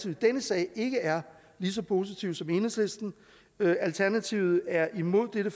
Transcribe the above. i denne sag ikke er lige så positive som enhedslisten alternativet er imod dette